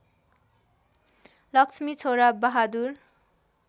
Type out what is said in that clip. लक्ष्मी छोरा बहादुर